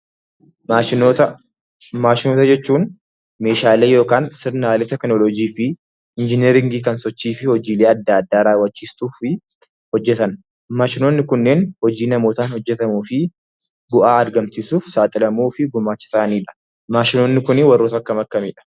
Maashinoota jechuun meeshaalee yookiin sirnaalee teekinooloojii fi injineeringii kan hojiilee adda addaa raawwachiistuuf hojjetan. Maashinoonni kunneen hojii namootan hojjetamuu fi bu'aa argamsiisudha.